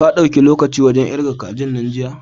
Ka dauki lokaci wajan ƙirga kajin nan jiya?